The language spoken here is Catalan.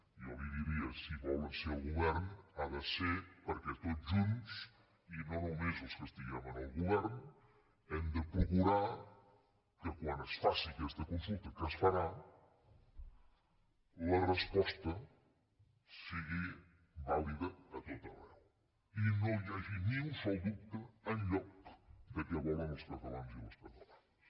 i jo li diria si volen ser al govern ha de ser perquè tots junts i no només els que estiguem en el govern hem de procurar que quan es faci aquesta consulta que es farà la resposta sigui vàlida a tot arreu i no hi hagi ni un sol dubte enlloc de què volen els catalans i les catalanes